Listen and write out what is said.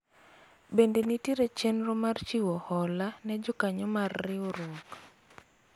bende nitiere chenro mar chiwo hola ne jokanyo mar riwruok ?